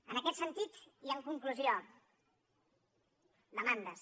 en aquest sentit i en conclusió demandes